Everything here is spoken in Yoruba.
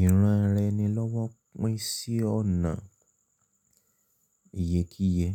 Ìranraẹni lọ́wọ́ pín sí ọ̀nà ìyèkíyẹ.